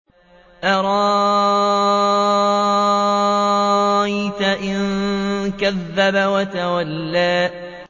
أَرَأَيْتَ إِن كَذَّبَ وَتَوَلَّىٰ